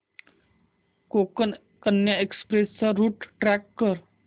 Konkan Kanya express चा route track कर